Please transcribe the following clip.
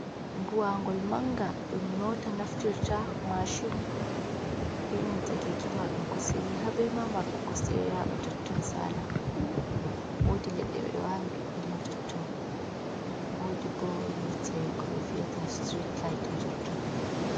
Buwangol manga dum mota naftirta mashun benanta keki mardun kosde didi habe ma mardo kosde do yaba totton sala wodi ledde be do awi ɗuɗdum ma totton wodi bo yite ko be viyata street lit ha totton.